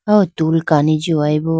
aw tool kani jindeyi bo.